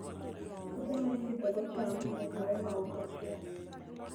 Puothe ma ipidhogo cham nyaka we maok ochwo.